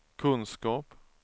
kunskap